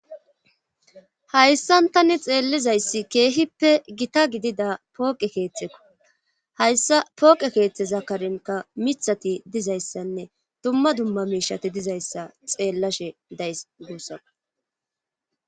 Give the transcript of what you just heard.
Hayssan tani xeellizayssi keehippe gita gidida pooqe keethekko; hayssa pooqe keetheza karenkka mithati dizayssanne dumma dumma miishshati dizayssa xeelashe days guusakko.